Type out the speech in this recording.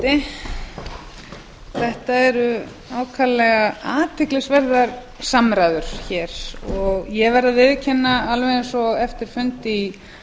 forseti þetta eru ákaflega athyglisverðar samræður hér og ég verð að viðurkenna alveg eins og eftir fund í